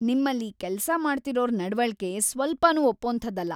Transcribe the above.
ನಿಮ್ಮಲ್ಲಿ ಕೆಲ್ಸ ಮಾಡ್ತಿರೋರ್‌ ನಡ್‌ವಳಿಕೆ ಸ್ವಲ್ಪನೂ ಒಪ್ಪೋಂಥದ್ದಲ್ಲ.